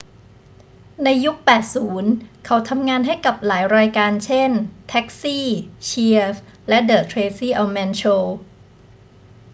ในยุค 80 เขาทำงานให้กับหลายรายการ เช่น taxi cheers และ the tracy ullman show